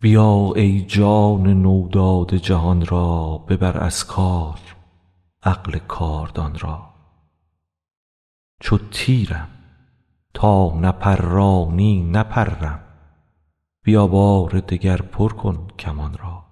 بیا ای جان نو داده جهان را ببر از کار عقل کاردان را چو تیرم تا نپرانی نپرم بیا بار دگر پر کن کمان را